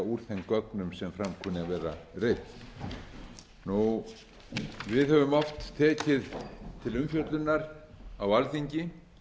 úr þeim gögnum sem fram kunni að vera reidd við höfum oft tekið til umfjöllunar á alþingi